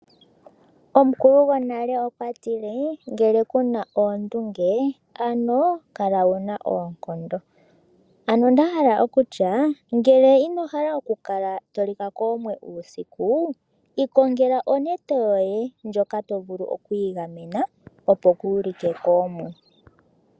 Omukulu gwonale okwa tile ngele ku na oondunge ano kala wu na oonkondo. Ano nda hala okutya ngele ino hala okukala to lika koomwe uusiku ikongela onete yoye ndjoka to vulu oku igamena opo kuulike koomwe.